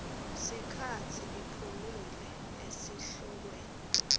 sikhatsi iphumile esihlokweni